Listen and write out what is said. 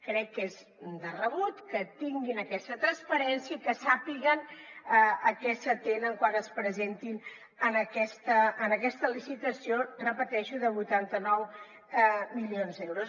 crec que és de rebut que tinguin aquesta transparència i que sàpiguen a què s’atenen quan es presentin en aquesta licitació ho repeteixo de vuitanta nou milions d’euros